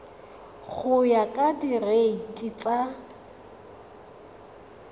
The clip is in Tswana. go ya ka direiti tsa